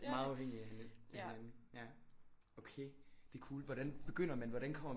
Meget afhængige af hinanden ja okay der er cool hvordan begynder man hvordan kommer